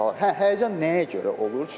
Hə, həyəcan nəyə görə olur?